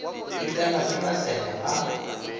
a tsenwa ke maseme a